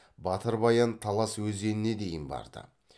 батыр баян талас өзеніне дейін барды